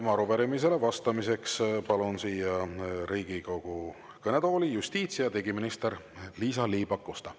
Ja arupärimisele vastamiseks palun siia Riigikogu kõnetooli justiits- ja digiminister Liisa-Ly Pakosta.